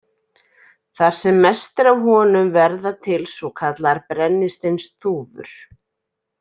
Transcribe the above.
Þar sem mest er af honum verða til svokallaðar brennisteinsþúfur.